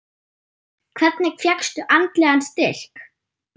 Hvernig fékkstu andlegan styrk?